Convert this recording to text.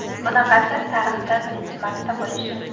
Bunaqasi tarixda birinchi marta bo‘lishi!